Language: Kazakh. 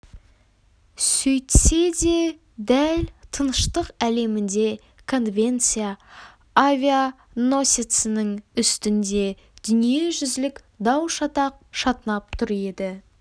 сөйтсе де дәл тыныштық әлемінде конвенция авианосецінің үстінде дүниежүзілік дау-шатақ шатынап тұр еді